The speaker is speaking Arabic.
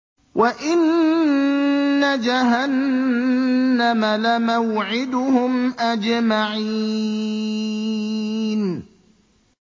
وَإِنَّ جَهَنَّمَ لَمَوْعِدُهُمْ أَجْمَعِينَ